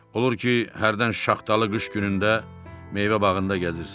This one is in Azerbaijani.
Olur ki, hərdən şaxtalı qış günündə meyvə bağında gəzirsən.